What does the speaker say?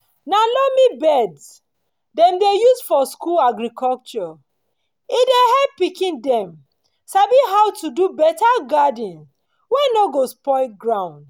na loamy beds dem dey use for school agriculture e dey help pikin dem sabi how to do better garden wey no go spoil ground.